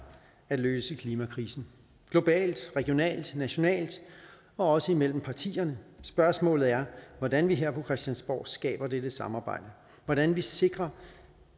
at løse klimakrisen globalt regionalt nationalt og også imellem partierne spørgsmålet er hvordan vi her på christiansborg skaber dette samarbejde hvordan vi sikrer